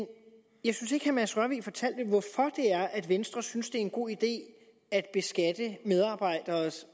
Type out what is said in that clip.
jeg mads rørvig fortalte hvorfor det er at venstre synes det er en god idé at beskatte medarbejderes